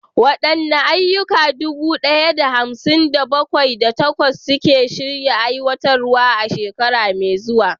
Waɗanne ayyuka dubu ɗaya da hamsin da bakwai, da takwas suke shirin aiwatarwa a shekaru masu zuwa?